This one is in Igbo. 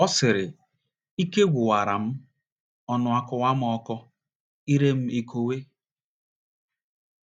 Ọ sịrị: "Ike gwụwara m, ọnụ akọwa m ọkọ, ire m ekowe.